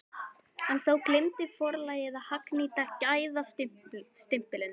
En þá gleymdi forlagið að hagnýta gæðastimpilinn!